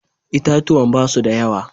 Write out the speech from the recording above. Itatuwan ba su da yawa.